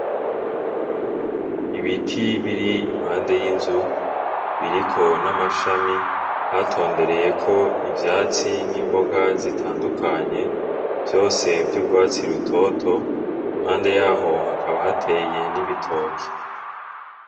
Ibiti biri impande y'inzu biriko n'amashami hatondereyeko ivyatsi n'imboga zitandukanye, vyose vy'urwatsi rutoto, impande yaho hakaba hateye n'ibitoke.